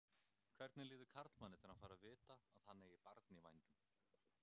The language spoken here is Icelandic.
Hvernig líður karlmanni þegar hann fær að vita að hann eigi barn í vændum?